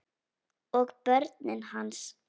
Og börnin hans.